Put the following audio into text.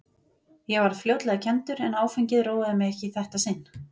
Ég varð fljótlega kenndur, en áfengið róaði mig ekki í þetta sinn.